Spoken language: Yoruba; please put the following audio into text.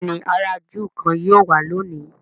béèni àrà júù kán yíò wá lóni.